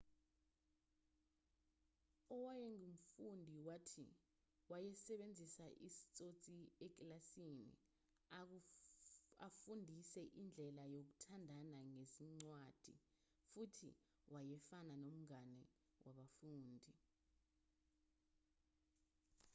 owayengumfundi wathi wayesebenzisa isitsotsi ekilasini afundise indlela yokuthandana ngezincwadi futhi wayefana nomngane wabafundi'